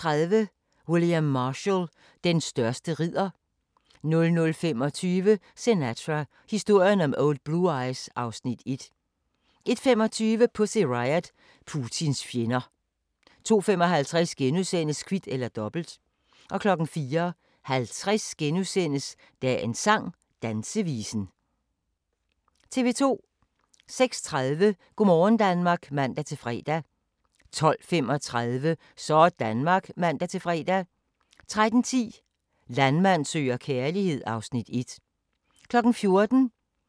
06:30: Go' morgen Danmark (man-fre) 12:35: Sådanmark (man-fre) 13:10: Landmand søger kærlighed (Afs. 1) 14:00: Danmarks dejligste slotshoteller (Afs. 3) 14:35: Danmarks dejligste slotshoteller (Afs. 4) 15:05: Grænsepatruljen (man-ons og fre) 15:35: Grænsepatruljen (man-ons) 16:05: SOS i Storbritannien (man-fre) 17:00: Nyhederne (man-fre) 17:12: Regionale nyheder (man-fre)